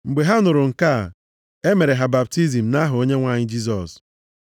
Mgbe ha nụrụ nke a, e mere ha baptizim nʼaha Onyenwe anyị Jisọs.